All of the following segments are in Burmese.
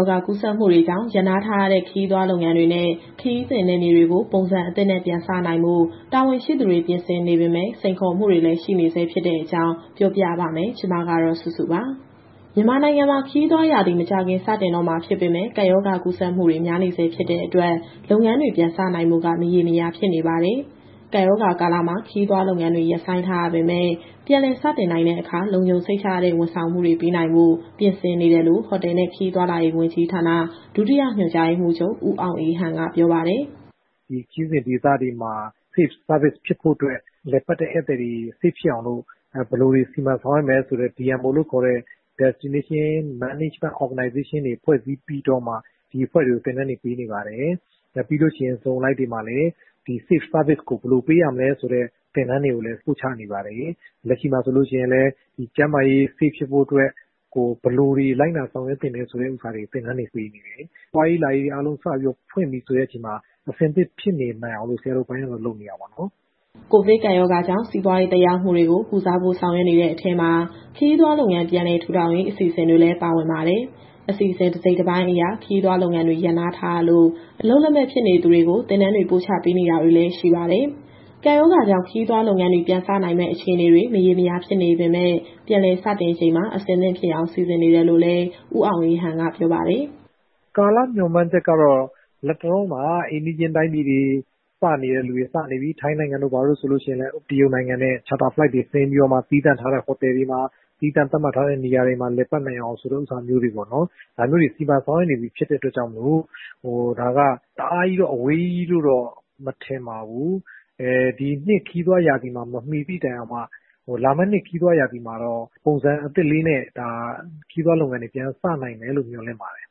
ောဂါ ကူးစက်မှုတွေကြောင့် ရပ်နားထားရတဲ့ ခရီးသွားလုပ်ငန်းတွေနဲ့ ခရီးစဉ်နယ်မြေတွေကို ပုံစံအသစ်နဲ့ ပြန်စနိုင်ဖို့ တာဝန်ရှိသူတွေ ပြင်ဆင်နေပေမဲ့ စိန်ခေါ်မှုတွေလည်း ရှိနေဆဲဖြစ်တဲ့အကြောင်း ပြောပြပါမယ်။ ဒီသတင်းကို ဗွီအိုအေမြန်မာပိုင်း သတင်းထောက် မစုစုက တင်ဆက်ပေးမှာပါ။ မြန်မာနိုင်ငံမှာ ခရီးသွားရာသီ မကြာခင် စတော့မှာ ဖြစ်ပေမဲ့ ကပ်ရောဂါကူးစက်မှုတွေ များနေဆဲ ဖြစ်တဲ့အတွက် လုပ်ငန်းတွေ ပြန်စနိုင်ဖို့က မရေမရာ ဖြစ်နေပါတယ်။ ကပ်ရောဂါကာလမှာ ခရီးသွားလုပ်ငန်းတွေ ရပ်ဆိုင်းထားရပေမဲ့ ပြန်လည်စတင်နိုင်တဲ့အခါ လုံခြုံစိတ်ချရတဲ့ ဝန်ဆောင်မှုတွေ ပေးနိုင်ဖို့ ပြင်ဆင်နေတယ်လို့ ဟိုတယ်နဲ့ ခရီးသွားလာရေး ဝန်ကြီးဌာန၊ ဒုတိယညွှန်ကြားရေးမှူးချုပ် ဦးအောင်အေးဟန် ကပြောပါတယ်။ “ဒီခရီးစဉ်ဒေသတွေမှာ Safe Service ဖြစ်ဖို့အတွက် လည်ပတ်တဲ့ဧည့်သည်တွေ Safe ဖြစ်အောင်လို့ ဘယ်လိုတွေ စီမံဆောင်ရွက်မယ်ဆိုတဲ့ DMO လို့ခေါ်တဲ့ Destination Management Organization တွေဖွဲ့စည်းပြီးတော့မှ ဒီအဖွဲ့တွေကို သင်တန်းတွေပေးနေပါတယ်။ ပြီးလို့ရှိရင် Zone အလိုက်တွေမှာလည်း ဒီ Safe Service ကို ဘယ်လိုပေးရမလဲဆိုတဲ့ သင်တန်းတွေကိုလည်း ပို့ချနေပါတယ်။ လက်ရှိမှာဆိုရင်လည်း ကျန်းမာရေး Safe ဖြစ်ဖို့အတွက် ဘယ်လိုတွေ လိုက်နာ ဆောင်ရွက်သင့်တယ်ဆိုတာတွေ သင်တန်းပေးနေတယ်။ သွားရေးလာရေး အားလုံးစပြီးတော့ ဖွင့်ပြီဆိုတဲ့အချိန်မှာ အဆင်သင့်ဖြစ်နေနိုင်အောင်လို့ ဆရာတို့အပိုင်းကတော့ လုပ်နေတာပေါ့နော်။” ကိုဗစ်ကပ်ရောဂါကြောင့် စီးပွားရေးသက်ရောက်မှုတွေကို ကုစားဖို့ဆောင်ရွက်နေတဲ့ အထဲမှာ ခရီးသွားလုပ်ငန်း ပြန်လည်ထူထောင်ရေး အစီအစဉ်တွေလည်း ပါဝင်ပါတယ်။ အစီအစဉ်တစိတ်တပိုင်းအရ ခရီးသွားလုပ်ငန်းတွေ ရပ်နားထားရလို့ အလုပ်လက်မဲ့ဖြစ်နေသူတွေကို သင်တန်းတွေ ပို့ချပေးတာတွေလည်း ရှိပါတယ်။ ကပ်ရောဂါကြောင့် ခရီးသွားလုပ်ငန်းတွေ ပြန်စနိုင်မယ့် အခြေအနေတွေ မရေမရာ ဖြစ်နေပေမဲ့ ပြန်လည်စတင်ချိန်မှာ အသင့်ဖြစ်အောင် စီစဉ်နေတယ်လို့လည်း ဦးအောင်အေးဟန်က ပြောပါတယ်။ “ကာလမျှော်မှန်းချက်ကတော့ လတ်တလောမှာ အိမ်နီးချင်းတိုင်းပြည်တွေ စနေတဲ့သူတွေ စနေပြီ။ ထိုင်းနိုင်ငံတို့ ဘာတို့ ဆိုရင်လည်း တရုတ်နိုင်ငံနဲ့ Charter Flight တွေဆင်းပြီးတော့မှ သီးသန့်ထားတဲ့ ဟိုတယ်တွေမှာ၊ သီးသန့်သတ်မှတ်ထားတဲ့ နေရာတွေမှာ လည်ပတ်နိုင်အောင် ဆိုတာမျိုးတွေ စီမံဆောင်ရွက်နေပြီဖြစ်လို့ ဒါကတအားအဝေးကြီးလို့တော့ မထင်ပါဘူး။ ဒီနှစ်ခရီးသွားရာသီမှာ မမီသည့်တိုင်အောင်မှ လာမယ့်နှစ်ခရီးသွားရာသီမှာတော့ ပုံစံအသစ်လေးနဲ့ ခရီးသွားလုပ်ငန်းတွေ ပြန်စနိုင်မယ်လို့ မျှော်လင့်ပါတယ်။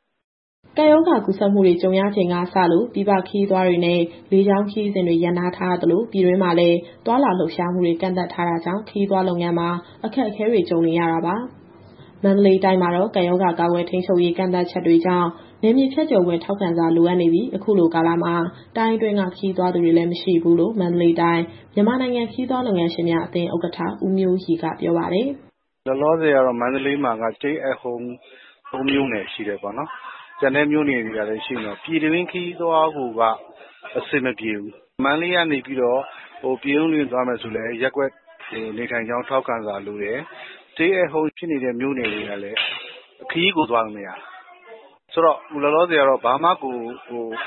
” ကပ်ရောဂါ ကူးစက်မှုတွေ ကြုံရချိန်ကစလို့ ပြည်ပခရီးသွားတွေနဲ့ လေကြောင်းခရီးစဉ်တွေ ရပ်နားထားရသလို ပြည်တွင်းမှာလည်း သွားလာ လှုပ်ရှားမှုတွေ ကန့်သတ်ထားတာကြောင့် ခရီးသွားလုပ်ငန်းမှာ အခက်အခဲတွေ ကြုံနေရတာပါ။ မန္တလေးတိုင်းမှာတော့ ကပ်ရောဂါကာကွယ်၊ ထိန်းချုပ်ရေး ကန့်သတ်ချက်တွေကြောင့် နယ်မြေဖြတ်ကျော်ခွင့် ထောက်ခံစာလိုအပ်နေပြီး၊ အခုလိုကာလမှာ တိုင်းအတွင်းက ခရီးသွားသူတွေလည်း မရှိဘူးလို့ မန္တလေးတိုင်း၊ မြန်မာနိုင်ငံ ခရီးသွားလုပ်ငန်းရှင်များ အသင်းဥက္ကဋ္ဌ ဦးမျိုးရီက ပြောပါတယ်။ “လောလောဆယ်ကတော့ မန္တလေးမှာက Stay at Home ၃ မြို့နယ်ရှိတယ်ပေါ့နော်။ ကျန်တဲ့မြို့နယ်တွေကလည်း ရှိနေတော့ ပြည်တွင်းခရီးသွားကိုက အဆင်မပြေဘူး။ မန္တလေးကနေ ပြင်ဦးလွင်သွားမယ်ဆိုလည်း ရပ်ကွက်နေထိုင်ကြောင်း ထောက်ခံစာလိုတယ်။ Stay at Home ဖြစ်နေတဲ့ မြို့နယ်တွေကလည်း ခရီးကိုသွားလို့မရတာ။ ဆိုတော့ အခုလောလောဆယ်ကတော့ ဘာမှကို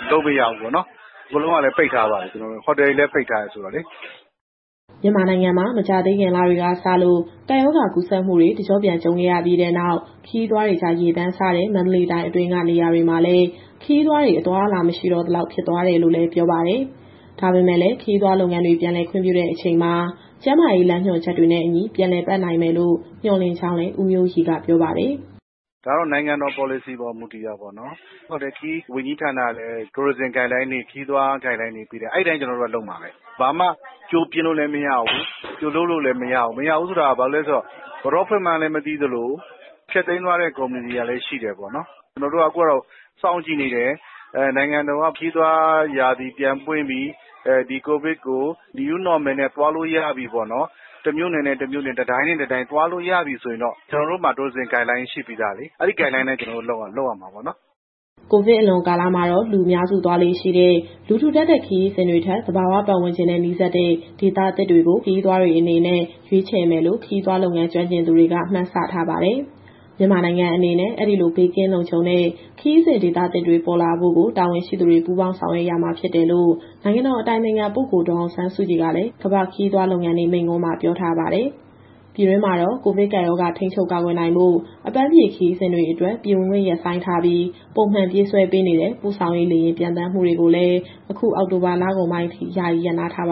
လုပ်မရဘူးပေါ့နော်။ အကုန်လုံးကလည်း ပိတ်ထားပါတယ်၊ ဟိုတယ်တွေကလည်း ပိတ်ထားတယ်ဆိုတော့လေ။” မြန်မာနိုင်ငံမှာ မကြာသေးခင်လတွေကစလို့ ကပ်ရောဂါကူးစက်မှုတွေ တကျော့ပြန် ကြုံခဲ့ရပြီးနောက် ခရီးသွားတွေကြား ရေပမ်းစားတဲ့ မန္တလေးတိုင်းအတွင်းက နေရာတွေမှာလည်း ခရီးသွားတွေ အသွားအလာ မရှိတော့သလောက် ဖြစ်သွားတယ်လို့လည်း ပြောပါတယ်။ ဒါပေမဲ့လည်း ခရီးသွားလုပ်ငန်းတွေ ပြန်လုပ်ခွင့်ပြုတဲ့ အချိန်မှာ ကျန်းမာရေးလမ်းညွှန်ချက်တွေနဲ့အညီ ပြန်လည်ပတ်နိုင်မယ်လို့ မျှော်လင့်ကြောင်းလည်း ဦးမျိုးရီက ပြောပါတယ်။ “ဒါကတော့ နိုင်ငံတော်ပေါ်လစီပေါ် မူတည်တာပေါ့နော်။ ဟိုတယ်၊ ခရီးဝန်ကြီးဌာနကလည်း ခရီးသွားလမ်းညွှန်ချက်တွေ ပေးတယ်။ အဲဒီအတိုင်း ကျနော်တို့ကလုပ်ရမှာပဲ။ ဘာမှကြိုပြင်လို့လည်း မရဘူး၊ ကြိုလုပ်လို့လည်း မရဘူး။ မရဘူးဆိုတာ ဘာဖြစ်လို့လဲဆိုတော့ ဘယ်တော့ဖွင့်မှန်းလည်း မသိသလို၊ ဖျက်သိမ်းသွားတဲ့ ကုမ္ပဏီတွေကလည်း ရှိတယ်ပေါ့နော်။ ကျနော်တို့က အခုကတော့ စောင့်ကြည့်နေတယ်။ နိုင်ငံတော်က ခရီးသွားရာသီ ပြန်ပွင့်ပြီ၊ ဒီကိုဗစ်ကို New Normal နဲ့ သွားလို့ရပြီပေါ့နော်၊ တမြို့နယ်နဲ့ တမြို့နယ်၊ တတိုင်းနဲ့ တတိုင်းသွားလို့ရပြီ ဆိုရင်တော့ ကျနော်တို့မှာ Tourism Guideline ရှိပြီးသားလေ။ အဲဒီ Guideline အတိုင်း ကျနော်တို့ လုပ်ရမှာပေါ့နော်။” ကိုဗစ်အလွန်ကာလမှာတော့ လူအများစုသွားလေ့ရှိတဲ့ လူထူထပ်တဲ့ခရီးစဉ်တွေထက် သဘာဝပတ်ဝန်းကျင်နဲ့ နီးစပ်တဲ့ဒေသသစ်တွေကို ခရီးသွားတွေအနေနဲ့ ရွေးချယ်မယ်လို့ ခရီးသွားလုပ်ငန်း ကျွမ်းကျင်သူတွေက မှန်းဆထားပါတယ်။ မြန်မာနိုင်ငံအနေနဲ့ အဲဒီလိုဘေးကင်းလုံခြုံတဲ့ ခရီးစဉ်ဒေသသစ်တွေ ပေါ်လာဖို့ကို တာဝန်ရှိသူတွေ ပူးပေါင်းဆောင်ရွက်ရမှာဖြစ်တယ်လို့ နိုင်ငံတော်အတိုင်ပင်ခံပုဂ္ဂိုလ် ဒေါ်အောင်ဆန်းစုကြည်ကလည်း ကမ္ဘာ့ခရီးသွားလုပ်ငန်းနေ့ မိန့်ခွန်းမှာပြောထားပါတယ်။ ပြည်တွင်းမှာတော့ ကိုဗစ်ကပ်ရောဂါ ထိန်းချုပ်၊ ကာကွယ်နိုင်ဖို့ အပန်းဖြေခရီးစဉ်တွေအတွက် ပြည်ဝင်ခွင့်ရပ်ဆိုင်းထားပြီး၊ ပုံမှန်ပြေးဆွဲပေးနေတဲ့ ပို့ဆောင်ရေးလေယာဉ် ပျံသန်းမှုတွေကိုလည်း အခုအောက်တိုဘာ လကုန်ပိုင်းအထိ ယာယီရပ်နားထားပါ